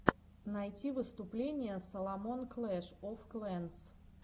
найти выступление саломон клэш оф клэнс